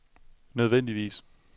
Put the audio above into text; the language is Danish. nødvendigvis